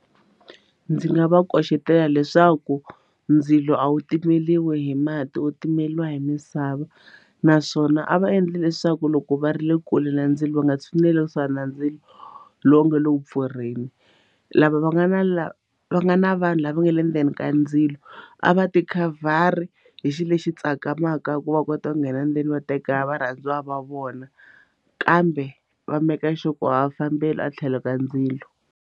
Ndzi nga va koxetela leswaku ndzilo a wu timeriwi hi mati wu timeriwa hi misava naswona a va endli leswaku loko va ri le kule na ndzilo lowu nga tshineli swa na ndzilo lowu nga le ku pfurheni lava va nga na lava va nga na vanhu lava nga le ndzeni ka ndzilo a va ti khavhari hi xilo lexi tsakamaka ku va kota ku nghena ndzeni va teka varhandziwa va vona kambe va maker sure ku a va fambeli a tlhelo ka ndzilo.